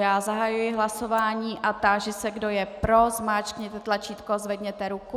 Já zahajuji hlasování a táži se, kdo je pro, zmáčkněte tlačítko, zvedněte ruku.